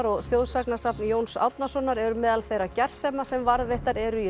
og þjóðsagnasafn Jóns Árnasonar eru meðal þeirra gersema sem varðveittar eru í